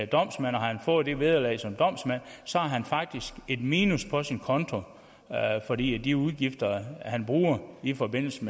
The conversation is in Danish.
domsmand og har fået det vederlag som domsmand så har han faktisk et minus på sin konto fordi de udgifter han har i forbindelse